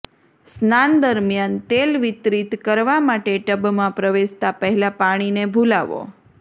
સ્નાન દરમ્યાન તેલ વિતરિત કરવા માટે ટબમાં પ્રવેશતા પહેલા પાણીને ભુલાવો